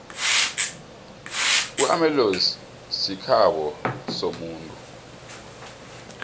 amaellozi sikhabo somuntu